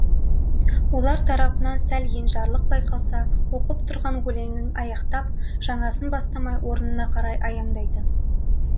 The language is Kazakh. олар тарапынан сәл енжарлық байқалса оқып тұрған өлеңін аяқтап жаңасын бастамай орнына қарай аяңдайтын